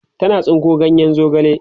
tana tsinko ganyen zogale